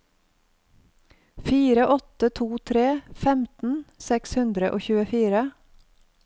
fire åtte to tre femten seks hundre og tjuefire